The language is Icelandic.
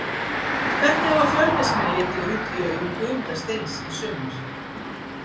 Hvernig hafa Fjölnismenn litið út í augum Guðmundar Steins í sumar?